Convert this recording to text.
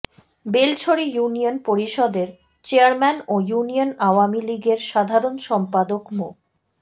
Belchhari union পরিষদের chairman ও union Awami লীগের সাধারণ সম্পাদক মো